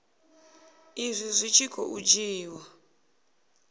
izwi zwi tshi khou dzhiiwa